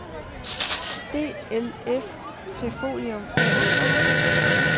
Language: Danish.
DLF-Trifolium A/S